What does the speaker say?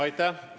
Aitäh!